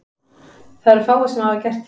Það eru fáir sem hafa gert það.